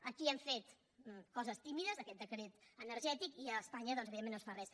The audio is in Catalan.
aquí hem fet coses tímides aquest decret energètic i a espanya evidentment no es fa res